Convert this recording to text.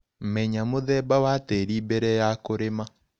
Menya mũthemba wa tĩrĩ mbere ya kũrĩma.